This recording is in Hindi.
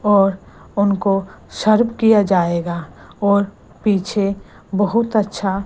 और उनको सर्व किया जाएगा और पीछे बहुत अच्छा--